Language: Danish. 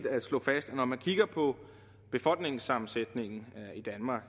at slå fast at når man kigger på befolkningssammensætningen i danmark